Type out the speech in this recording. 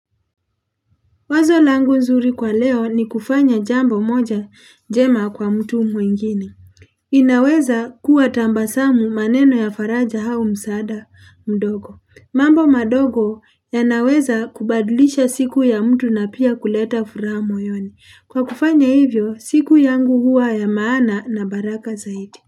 Wazo langu zuri kwa leo ni kufanya jambo moja jema kwa mtu mwingine inaweza kuwa tambasamu maneno ya faraja hau msaada mdogo. Mambo madogo ya naweza kubadlisha siku ya mtu na pia kuleta furaha moyoni. Kwa kufanya hivyo, siku yangu huwa ya maana na baraka zaidi.